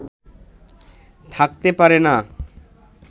থাকতে পারে না